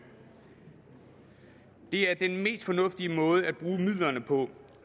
det er den mest fornuftige måde at bruge midlerne på